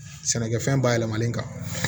Sɛnɛkɛfɛn bayɛlɛmalen kan